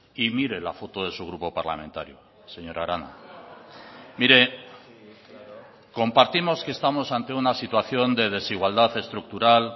y mire la foto de su grupo parlamentario señora arana mire compartimos que estamos ante una situación de desigualdad estructural